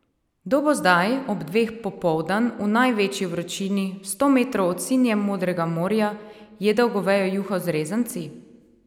Kdo bo zdaj, ob dveh popoldan, v največji vročini, sto metrov od sinje modrega morja, jedel govejo juho z rezanci?